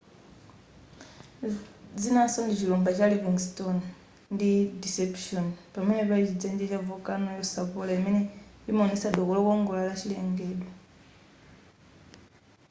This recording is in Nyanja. zinaso ndi chilumba cha livingston ndi deception pamene pali chidzenje cha volcano yosapola imene imaonesa doko lokongola la chilengedwe